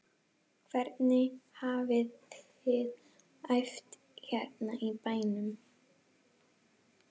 Hvernig hafiði æft hérna í bænum?